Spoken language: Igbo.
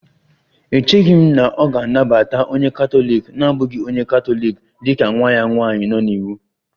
Echeghị m na ọ ga-anabata onye katọlik na-abụghị onye Katọlik dị ka nwa ya nwanyị nọ n'iwu